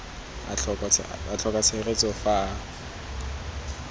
a tlhoka tshegetso fa a